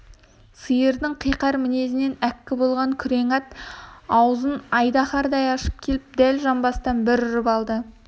сиырдың қиқар мінезінен әккі болған күрең ат аузын айдаһардай ашып келіп дәл жамбастан бір ұрып алды